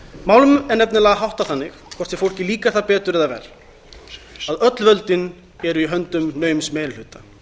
málum er nefnilega háttað þannig hvort sem fólki líkar það betur eða verr að öll völdin eru í höndum naums meiri hluta